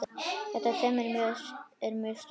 Þetta teymi er mjög sterkt.